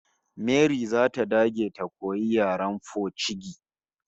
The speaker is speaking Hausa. Mary zata dage ta koyi yaren pocigi